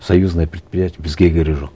союзное предприятие бізге керегі жоқ